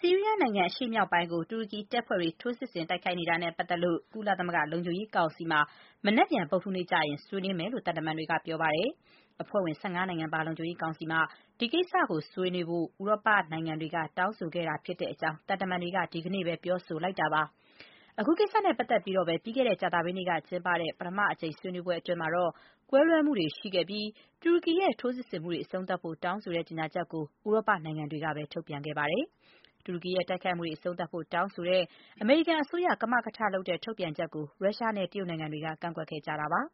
ဆီးရီးယားနိုင်ငံ အရှေ့မြောက်ပိုင်းကို တူရကီတပ်ဖွဲ့တွေ ထိုးစစ်ဆင် တိုက်ခိုက်နေတာနဲ့ ပတ်သက်လို့ ကုလသမဂ္ဂလုံခြုံရေးကောင်စီမှာ မနက်ဖြန် ဗုဒ္ဓဟူးနေ့ ဆွေးနွေးမယ့်အကြောင်း သံတမန်တွေက ပြောပါတယ်။ အဖွဲ့ဝင် ၁၅ နိုင်ငံပါ လုံခြုံရေးကောင်စီမှာ ဒီကိစ္စကို ဆွေးနွေးဖို့ ဥရောပနိုင်ငံတွေက တောင်းဆိုခဲ့တာဖြစ်တဲ့အကြောင်း သံတမန်တွေက ဒီကနေ့ ပြောဆိုလိုက်တာပါ။ အခုကိစ္စနဲ့ပတ်သက်ပြီးတော့ပဲ ပြီးခဲ့တဲ့ ကြာသပတေးနေ့ကကျင်းပတဲ့ ပထမအကြိမ် ဆွေးနွေးပွဲအတွင်းမှာတော့ ကွဲလွဲမှုတွေရှိခဲ့သလို တူရကီရဲ့ ထိုးစစ်ဆင်မှုတွေ အဆုံးသတ်ဖို့ တောင်းဆိုတဲ့ ကြေညာချက်ကို ဥရောပနိုင်ငံတွေကပဲ ထုတ်ပြန်ခဲ့တာပါ။ တူရကီရဲ့တိုက်ခိုက်မှုတွေ အဆုံးသတ်ဖို့ တောင်းဆိုတဲ့ အမေရိကန် အစိုးရ ကမကထလုပ်တဲ့ ထုတ်ပြန်ချက်ကို ရုရှားနဲ့ တရုတ်နိုင်ငံတွေက ကန့်ကွက်ခဲ့တာပါ။